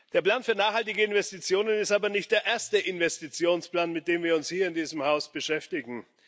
Der Plan für nachhaltige Investitionen ist aber nicht der erste Investitionsplan, mit dem wir uns hier in diesem Haus beschäftigen.